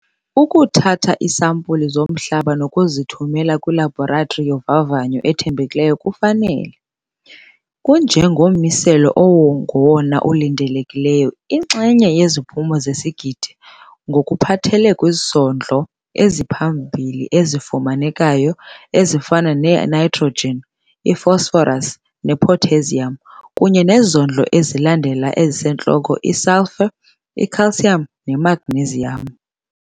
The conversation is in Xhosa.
Ukuthatha iisampulu zomhlaba nokuzithumela kwilabhoratri yovavanyo ethembekileyo kufanele ukukunika, njengommiselo ongowona ulindelekileyo, iinxenye ngeziphumo zesigidi ngokuphathelele kwizondlo eziphambili ezifumanekayo ezifana ne-nitrogen i-phosphorus, ne-potassium kunye nezondlo ezilandela ezisentloko i-sulphur, i-calcium, ne-magnesium.